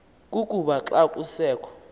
kukuba xa kusekho